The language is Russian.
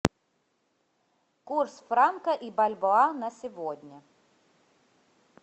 курс франка и бальбоа на сегодня